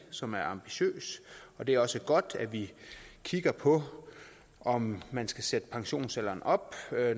som er ambitiøs og det er også godt at vi kigger på om man skal sætte pensionsalderen op